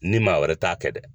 N ni maa wɛrɛ t'a kɛ dɛ.